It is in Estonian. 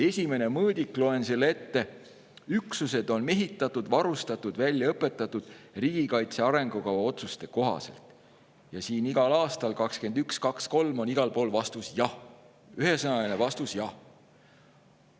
Esimene mõõdik, loen selle ette: "Üksused on mehitatud, varustatud, välja õpetatud vastavalt riigikaitse arengukava otsustele", ja siin on iga aasta juures – 2021, 2022, 2023 – ühesõnaline vastus: "Jah.